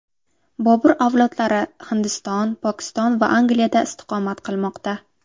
Bobur avlodlari Hindiston, Pokiston va Angliyada istiqomat qilmoqda.